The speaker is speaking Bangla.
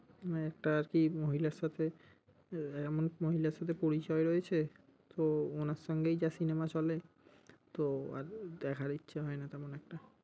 আহ একটা আরকি মহিলার সাথে এমন এক মহিলার সাথে পরিচয় রয়েছে, তো উনার সঙ্গেই যা cinema চলে তো আর দেখার ইচ্ছা হয় না তেমন একটা।